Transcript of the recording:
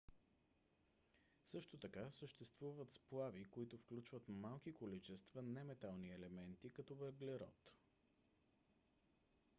също така съществуват сплави които включват малки количества неметални елементи като въглерод